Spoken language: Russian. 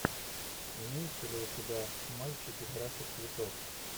имеется ли у тебя мальчики краше цветов